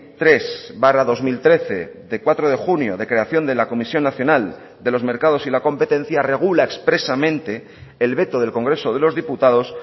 tres barra dos mil trece de cuatro de junio de creación de la comisión nacional de los mercados y la competencia regula expresamente el veto del congreso de los diputados